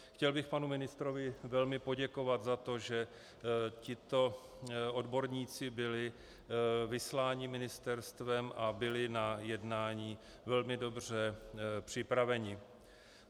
Chtěl bych panu ministrovi velmi poděkovat za to, že tito odborníci byli vysláni ministerstvem a byli na jednání velmi dobře připraveni.